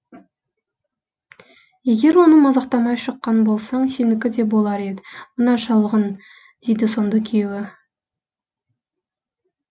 егер оны мазақтамай шыққан болсаң сенікі де болар ед мына шалғын дейді сонда күйеуі